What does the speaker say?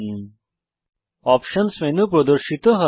options options menu প্রদর্শিত হয়